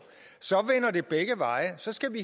vil begge veje og så skal vi